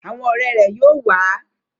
Awọn ọrẹ rẹ yóò wa